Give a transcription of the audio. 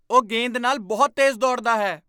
ਉਹ ਗੇਂਦ ਨਾਲ ਬਹੁਤ ਤੇਜ਼ ਦੌੜਦਾ ਹੈ!